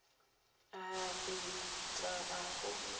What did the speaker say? a ape tla a go